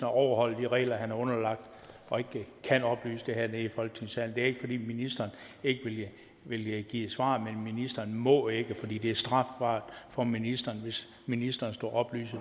overholder de regler han er underlagt og ikke kan oplyse det hernede i folketingssalen det er ikke fordi ministeren ikke vil give et svar men ministeren må ikke fordi det er strafbart for ministeren hvis ministeren skulle oplyse